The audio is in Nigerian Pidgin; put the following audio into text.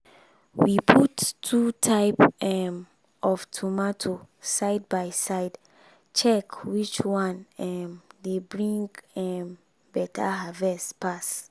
we put two type um of tomato side by side check which one um dey bring um better harvest pass.